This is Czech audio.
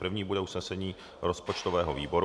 První bude usnesení rozpočtového výboru.